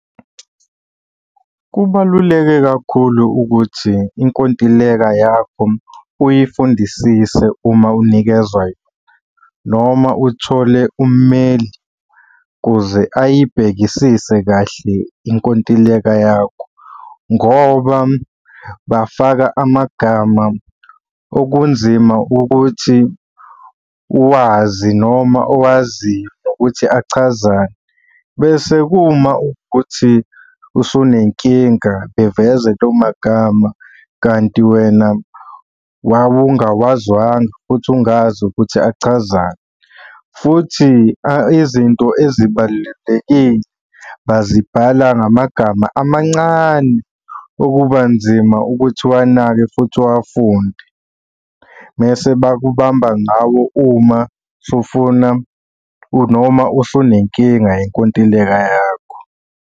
Kubaluleke kakhulu ukuthi inkontileka yakho uyifundisise uma unikezwa yona, noma uthole ummeli kuze ayibhekisise kahle inkontileka yakho, ngoba bafaka amagama okunzima ukuthi uwazi noma owaziyo ukuthi achazani. Bese uma ukuthi usunenkinga beveze lawo magama kanti wena wawungawazwanga, futhi ungazi ukuthi achazani, futhi izinto ezibalulekile bazibhala ngamagama amancane okuba nzima ukuthi uwanake futhi uwafunde. Mese bakubamba ngawo uma sufuna noma usunenkinga yenkontileka yakho.